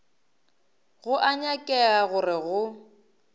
go a nyakega gore go